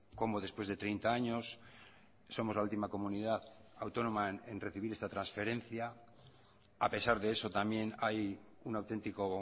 cómo después de treinta años somos la última comunidad autónoma en recibir esta transferencia a pesar de eso también hay un auténtico